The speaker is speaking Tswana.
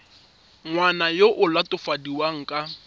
ngwana yo o latofadiwang ka